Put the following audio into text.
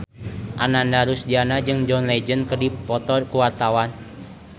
Ananda Rusdiana jeung John Legend keur dipoto ku wartawan